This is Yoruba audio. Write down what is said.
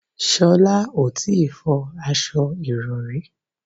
Sholá ò tí ì fọ aṣo ìrọrí